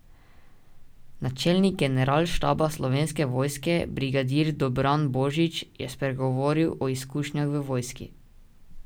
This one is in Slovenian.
Načelnik generalštaba Slovenske vojske, brigadir Dobran Božič, je spregovoril o izkušnjah v vojski.